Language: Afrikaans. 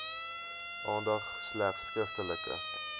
aandag slegs skriftelike